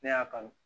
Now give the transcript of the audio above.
Ne y'a kanu